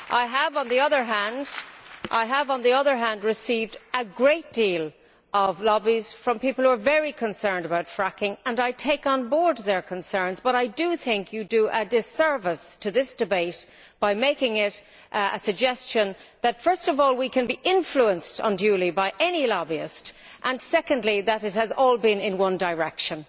I have, on the other hand, received a great deal of lobbying from people who are very concerned about fracking and I take on board their concerns, but I do think you do a disservice to this debate by making the suggestion, first of all, that we can be influenced unduly by any lobbyist and, secondly, that it has all been in one direction.